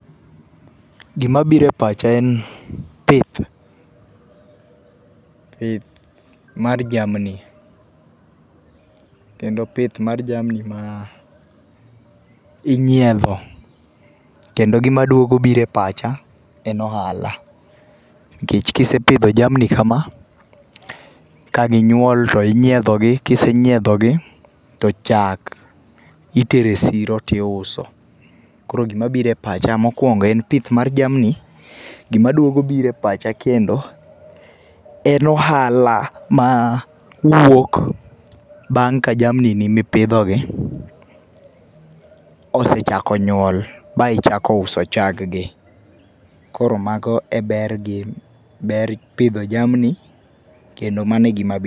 Gima biro e pacha en pith, eeh, mar jamni. Kendo pith mar jamni ma inyiedho, kendo gima duogo biro e pacha en ohala nikech kisepidho jamni kama ka ginyuol to inyiedho gi, ka isenyiedho gi to chak itero e siro tiuso. Koro gima biro e pacha mokuongo en pith mar jamni gima duogo biro e pacha kendo en ohala ma uwuok bang ka jamni gi mipidho gi osechako nyuol ma ichako uso chag gi. Koro mago e ber gi ber pidho jamni kendo mano e gima